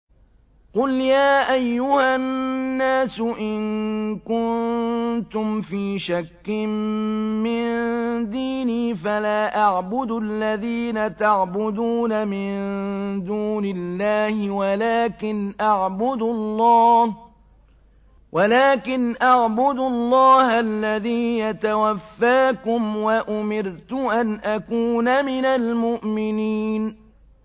قُلْ يَا أَيُّهَا النَّاسُ إِن كُنتُمْ فِي شَكٍّ مِّن دِينِي فَلَا أَعْبُدُ الَّذِينَ تَعْبُدُونَ مِن دُونِ اللَّهِ وَلَٰكِنْ أَعْبُدُ اللَّهَ الَّذِي يَتَوَفَّاكُمْ ۖ وَأُمِرْتُ أَنْ أَكُونَ مِنَ الْمُؤْمِنِينَ